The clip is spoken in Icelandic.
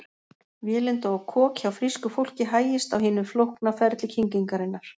Vélinda og kok Hjá frísku fólki hægist á hinu flókna ferli kyngingarinnar.